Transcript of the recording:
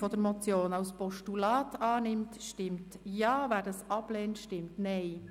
Wer sie als Postulat annimmt, stimmt Ja, wer dies ablehnt, stimmt Nein.